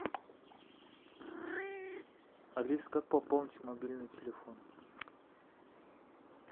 алиса как пополнить мобильный телефон